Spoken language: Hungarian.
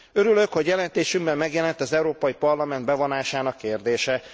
Örülök, hogy jelentésünkben megjelent az Európai Parlament bevonásának kérdése.